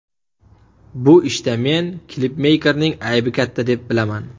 Bu ishda men klipmeykerning aybi katta, deb bilaman.